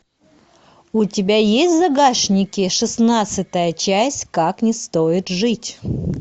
у тебя есть в загашнике шестнадцатая часть как не стоит жить